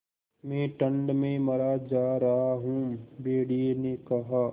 मैं ठंड में मरा जा रहा हूँ भेड़िये ने कहा